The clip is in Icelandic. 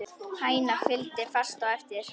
Hænan fylgdi fast á eftir.